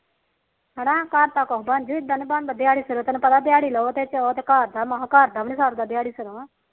ਹਨਾ ਘਰ ਦਾ ਕੁਛ ਬਣਜੂ ਇਦਾ ਨੀ ਬਣਦਾ ਦਿਹਾੜੀ ਦੇ ਸਿਰ ਤੈਨੂੰ ਪਤਾ ਦਿਹਾੜੀ ਲਾਉ ਘਰ ਦਾ ਘਰ ਦਾ ਘਰਦਾ ਵੀ ਨੀ ਸਰਦਾ